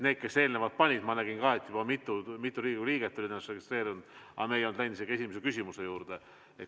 Ma nägin ka, et juba mitu Riigikogu liiget oli ennast registreerinud, aga me ei olnud veel isegi esimese küsimuse juurde läinud.